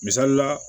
Misali la